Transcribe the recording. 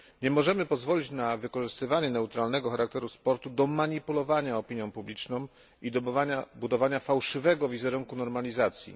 Nie możemy pozwolić na wykorzystywanie neutralnego charakteru sportu do manipulowania opinią publiczną i do budowania fałszywego wizerunku normalizacji.